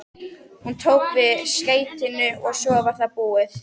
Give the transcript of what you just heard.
Hún tók við skeytinu og svo var það búið.